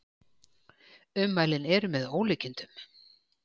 Ummælin eru með ólíkindum